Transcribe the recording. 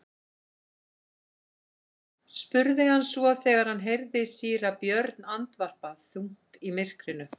spurði hann svo þegar hann heyrði síra Björn andvarpa þungt í myrkrinu.